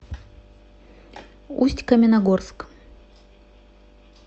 усть каменогорск